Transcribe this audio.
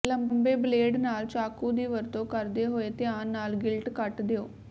ਲੰਬੇ ਬਲੇਡ ਨਾਲ ਚਾਕੂ ਦੀ ਵਰਤੋਂ ਕਰਦੇ ਹੋਏ ਧਿਆਨ ਨਾਲ ਗਿਲਟ ਕੱਟ ਦਿਉ